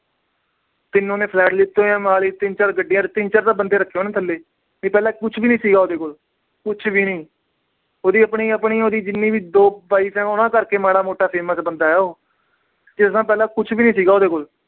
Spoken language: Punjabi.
ਤਿੰਨ ਉਹਨੇ flat ਲੀਤੇ ਹੋਏ ਆ ਮੋਹਾਲੀ। ਤਿੰਨ ਚਾਰ ਗੱਡੀਆਂ। ਤਿੰਨ ਚਾਰ ਤਾਂ ਉਹਨੇ ਬੰਦੇ ਰੱਖੇ ਆ ਥੱਲੇ। ਪਹਿਲਾ ਕੁਛ ਵੀ ਨੀ ਸੀਗਾ ਉਹਦੇ ਕੋਲ, ਕੁਛ ਵੀ ਨੀ। ਉਹਦੀ ਆਪਣੀ ਅਹ ਆਪਣੀ ਜਿੰਨੀ ਵੀ, ਦੋ wife ਆ, ਉਹਦੇ ਕਰਕੇ ਮਾੜਾ ਮੋਟਾ famous ਬੰਦਾ ਉਹ। ਇਸ ਤੋਂ ਪਹਿਲਾ ਕੁਛ ਵੀ ਨੀ ਸੀਗਾ ਉਹਦੇ ਕੋਲ।